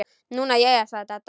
Nú jæja sagði Dadda.